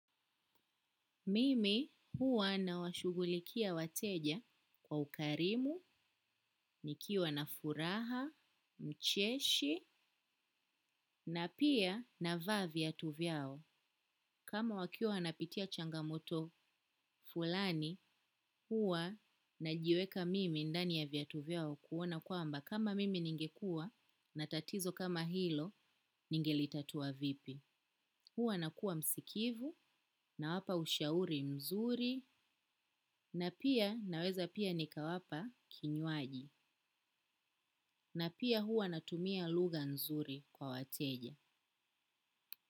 Mimi huwa nawashughulikia wateja kwa ukarimu, nikiwa na furaha, mcheshi, na pia navaa viatu vyao. Kama wakiwa wanapitia changamoto fulani, huwa najiweka mimi ndani ya viatu vyao kuona kwamba kama mimi ningekuwa na tatizo kama hilo ningelitatua vipi. Huwa nakuwa msikivu nawapa ushauri mzuri na pia naweza pia nikawapa kinywaji na pia huwa natumia lugha nzuri kwa wateja.